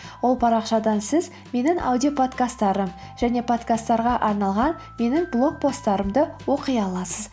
ол парақшадан сіз менің аудиоподкасттарым және подкасттарға арналған менің блог посттарымды оқи аласыз